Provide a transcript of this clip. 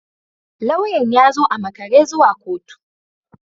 Lauyan ya zo a makare zuwa kotu